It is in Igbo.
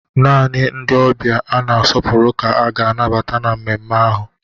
Naanị ndị ọbịa a na-asọpụrụ ka a ga-anabata na mmemme ahụ